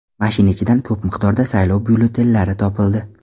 Mashina ichidan ko‘p miqdorda saylov byulletenlari topildi.